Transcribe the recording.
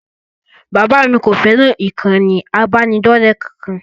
Bàbá mi kò fẹ́ràn ìkànnì ìbánidọ́ọ̀rẹ́ kankan